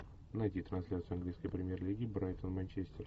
найди трансляцию английской премьер лиги брайтон манчестер